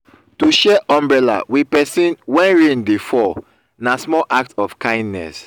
to share umbrella with persin when rain de fall na small act of kindness